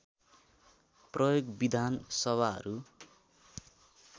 प्रयोग विधान सभाहरू